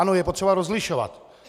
Ano, je potřeba rozlišovat.